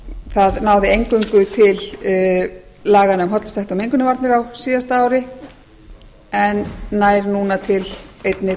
það náði eingöngu til laganna um hollustuhætti og mengunarvarnir á síðasta ári en nær núna einnig